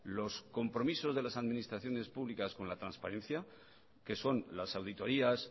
los compromisos de las administraciones públicas con la transparencia que son las auditorias